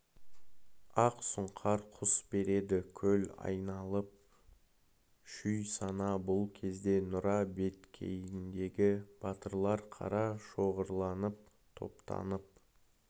ақ сұңқар құс береді көл айналып шүй сана бұл кезде нұра беткейіндегі батырлар қара шоғырланып топтанып